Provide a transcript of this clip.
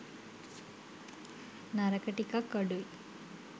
නරක ටිකක් අඩුයි.